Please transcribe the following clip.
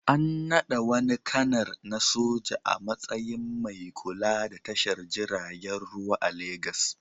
An naɗa wani kanar na soja a matsayin mai kula da tashar jiragen ruwa ta Legas.